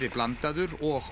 blandaður og